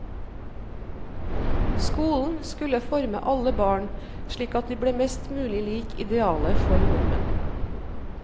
Skolen skulle forme alle barn slik at de ble mest mulig lik idealet for nordmenn.